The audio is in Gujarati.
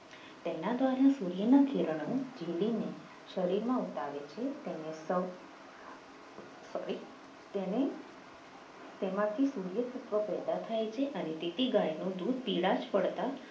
તેના દ્વારા સૂર્યના કિરણો ભીલીને શરીરમાં ઉતારે છે તેને સૌ સોરી તેને તેનામાંથી પેદા થાય છે અને તેથી ગાયનું દૂધ પીળાશ પડતા